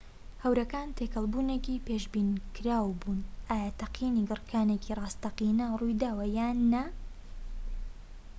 هەورەکان تێکەڵ بوونێکی پێشبینیکراو بوون ئایا تەقینی گڕکانێکی ڕاستەقینە ڕوویداوە یان نا